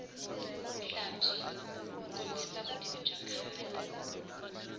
henhlabyi kombisa vutivi bya kahle